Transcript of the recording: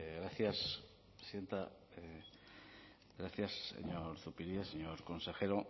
gracias presidenta gracias señor zupiria señor consejero